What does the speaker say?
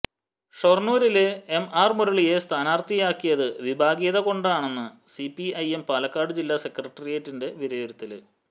ഷൊര്ണൂരില് M R മുരളിയെ സ്ഥാനാര്ത്ഥിയാക്കാത്തത് വിഭാഗീയത കൊണ്ടെന്ന് സിപിഐഎം പാലക്കാട് ജില്ലാ സെക്രട്ടറിയറ്റിന്റെ വിലയിരുത്തല്